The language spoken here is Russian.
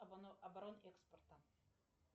оборот экспорта